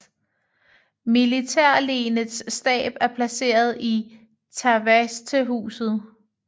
Militærlenets stab er placeret i Tavastehus